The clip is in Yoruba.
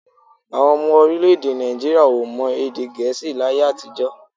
Àwọn ọmọ orílẹ̀-èdè Nàìjííríà èdè Gẹ̀ẹ́sì láyé àtijọ́.